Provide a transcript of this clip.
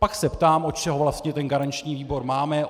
Pak se ptám, od čeho vlastně ten garanční výbor máme?